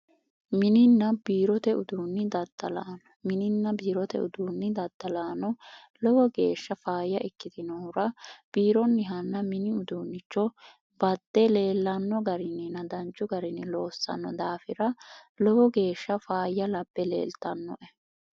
mininna biirote uduunni daddalaano mininna biirote uduunni daddalaano lowo geeshsha faayya ikkitinohura biironni hanna mini uduunnicho batxe leellanno garinni nadanchu garini loossanno daafira lowo geeshsha faayya labpe leeltannoe